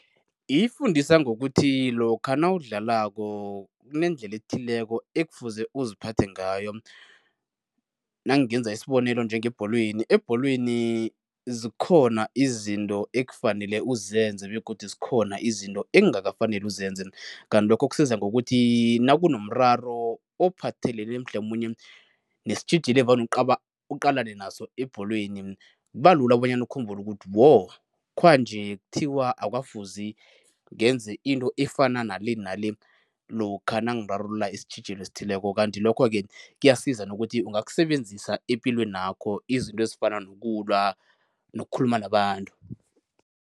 Ifundisa ngokuthi lokha nawudlalako kunendlela ethileko ekufuze uziphathe ngayo. Nangenza isibonelo njengebholweni, ebholweni zikhona izinto ekufanele uzenze begodu zikhona izinto ekungakafaneli uzenze kanti lokho kusiza ngokuthi nakunomraro ophathelene mhlamunye nesitjhijilo evane uqalane naso ebholweni kuba lula bonyana ukhumbule ukuthi wo, khwanje kuthiwa akukafuzi ngenze into efana nale nale lokha nangirarulula isitjhijilo esithileko. Kanti lokho-ke kuyasiza nokuthi ungakusebenzisa epilwenakho, izinto ezifana nokulwa nokukhuluma nabantu.